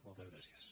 moltes gràcies